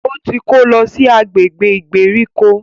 O tí kò lọ si agbègbè ìgbèríko.